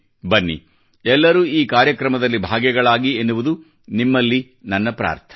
ಬನ್ನಿ ಎಲ್ಲರೂ ಈ ಕಾರ್ಯಕ್ರಮದಲ್ಲಿ ಭಾಗಿಗಳಾಗಿ ಎನ್ನುವುದು ನಿಮ್ಮಲ್ಲಿ ನನ್ನ ಪ್ರಾರ್ಥನೆ